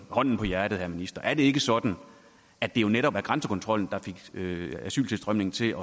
hånden på hjertet herre minister er det ikke sådan at det jo netop var grænsekontrollen der fik asyltilstrømningen til